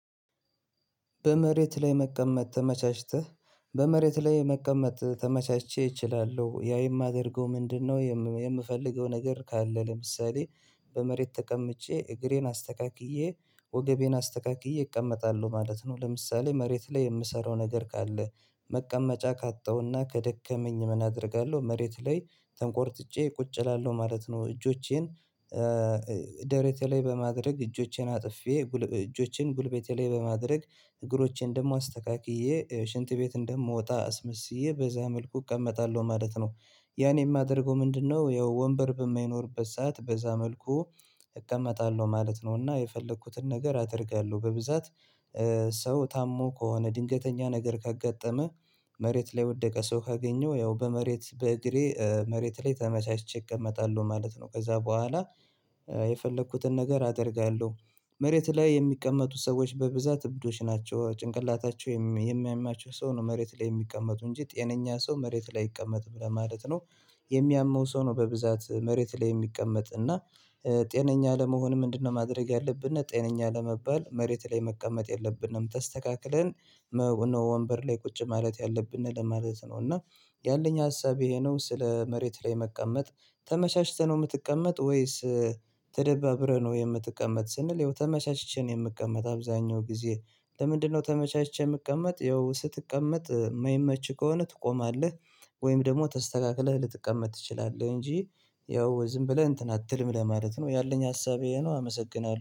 በመሬት ላይ መቀመጥ ተመቻችተህ በመሬት ላይ መቀመጥ ተመቻችቼ እችላለሁ ያም የማደርገው ምንድነው የምፈልገው ነገር ካለ ለምሳሌ በመሬት ተቀምጬ እግሬን አስተካክዬ፣ ወገቤን አስተካክዬ እቀመጣለሁ ማለት ነው፤ ለምሳሌ መሬት ላይ የምሰራው ነገር ካለ መቀመጫ ካጣሁና ከደከመኝ ምን አደርጋለሁ መሬት ላይ ተንቆርጥጬ ቁጭ እላለሁ ማለት ነው እጆቼን ደረቴ ላይ በማድረግ እጆቼን አጥፌ እጆቼን ጉልበቴ ላይ በማድረግ እግሮቼን ደግሞ አስተካክዬ ሽንት ቤት እንደምወጣ አስመስዬ በዛ መልኩ እቀመጣለሁ ማለት ነው። ያኔ የማደርገው ምንድነው ያው ወንበር በማይኖርበት ሰዓት በዛ መልኩ እቀመጣለሁ ማለት ነው እና የፈለኩትን ነገር አደርጋለሁ በብዛት ሰው ታሞ ከሆነ ድንገተኛ ነገር ካጋጠመህ መሬት ላይ የወደቀ ሰው ካገኘው ያው በመሬት በእግሬ መሬት ላይ ተመቻችቼ እቀመጣለሁ ማለት ነው ከዛ በኋላ የፈለኩትን ነገር አደርጋለሁ። መሬት ላይ የሚቀመጡት ሰዎች በብዛት እብዶች ናቸው። ጭንቅላታቸው የሚያማቸው ሰው ነው መሬት ላይ የሚቀመጡ እንጂ ጤነኛ ሰው መሬት ላይ አይቀመጥም ማለት ነው የሚያመው ሰው ነው በብዛት መሬት ላይ የሚቀመጥ እና ጤነኛ ለመሆን ምንድነው ማድረግ ያለብን ጤነኛ ለመባል መሬት ላይ መቀመጥ የለብንም ተስተካክለን ነው ወንበር ላይ ቁጭ ማለት ያለብንን ለማለት ነው እና ያለኝ ሀሳብ ይሄ ነው ስለ መሬት ላይ መቀመጥ ተመቻችተህ ነው የምትቀመጥ ወይስ ተደባብረህ ነው የምትቀመጥ ስንል ይኸው ተመቻችቼ ነው የምትቀመጥ አብዛኛው ጊዜ ለምንድነው ተመቻችቼ የምቀመጥ ያው ስትቀመጥ ማይመችህ ከሆነ ትቆማለህ ወይም ደግሞ ተስተካክለህ ልትቀመጥ ትችላለህ እንጂ ያው ዝም ብለህ እንትን አትልም ለማለት ነው ያለኝ ሀሳብ ይሄ ነው አመሰግናለሁ።